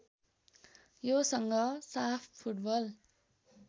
योसँग साफ फुटबल